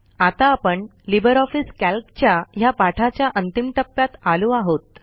आता आपण LibreOffice कॅल्कच्या ह्या पाठाच्या अंतिम टप्प्यात आलो आहोत